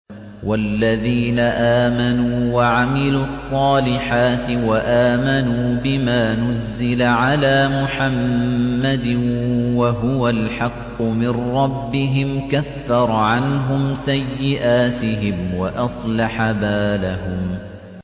وَالَّذِينَ آمَنُوا وَعَمِلُوا الصَّالِحَاتِ وَآمَنُوا بِمَا نُزِّلَ عَلَىٰ مُحَمَّدٍ وَهُوَ الْحَقُّ مِن رَّبِّهِمْ ۙ كَفَّرَ عَنْهُمْ سَيِّئَاتِهِمْ وَأَصْلَحَ بَالَهُمْ